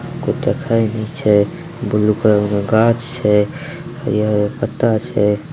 कोई देखे ने छै ब्लू कलर के गाछ छै हरियर-हरियर पत्ता छै।